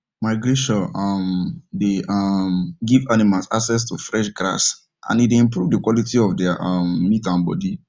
migration um dey um give animals access to fresh grass and e dey improve the quality of there um meat and body